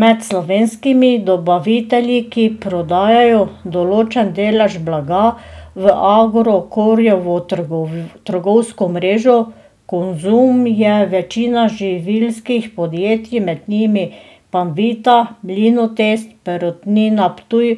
Med slovenskimi dobavitelji, ki prodajajo določen delež blaga v Agrokorjevo trgovsko mrežo Konzum, je večina živilskih podjetij, med njimi Panvita, Mlinotest, Perutnina Ptuj